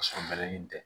Ka sɔrɔ mɛɛnni tɛ